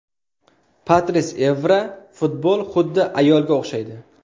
Patris Evra Futbol xuddi ayolga o‘xshaydi.